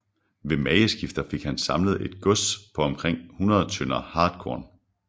Ved mageskifter fik han samlet et gods på omkring 100 tønder hartkorn